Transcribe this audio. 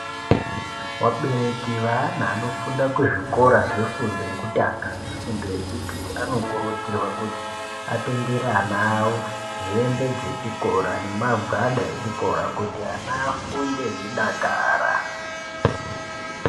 Vabereki vevana vanofunda kuzvikora zvefundo yekutanga nefundo yechipiri anokurudzirwa kuti atengere ana awo hembe dzechikora nemagwada echikora kuti ana afunde eidakara.